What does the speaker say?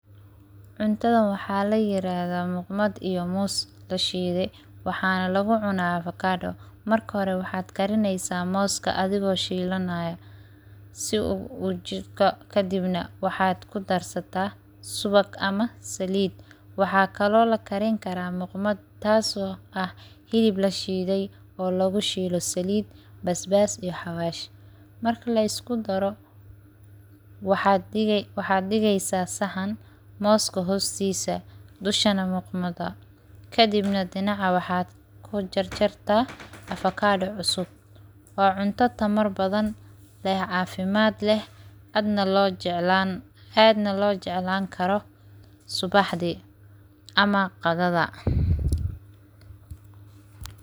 Cuntada waxaa layirahda muqmati iyo moos lashidey, waxaana lagucuna avocado, marka hore waxaad karineysaa mooska adhigoo shiilanayo kadibna waxaad kudarsata subag ama saliid, waxaa kaloo lakarin karaa muqmat taas oo ah hilib lashiidey oo lagu shiilo saliid basbas iyo hawaash, marka laisku daro waxaad dhigeysaa saxan mooska hoostisa dushana muqmati kadibna dhinaca waxaad kujarjarta avocado cusub, waa cunto tamar badan leh caafimad leh aadna loo jeclaan karo subaxdi ama qadhadha.